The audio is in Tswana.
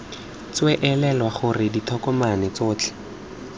tswee elelwa gore ditokomane tsotlhe